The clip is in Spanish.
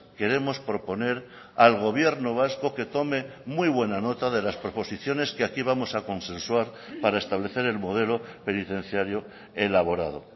queremos proponer al gobierno vasco que tome muy buena nota de las proposiciones que aquí vamos a consensuar para establecer el modelo penitenciario elaborado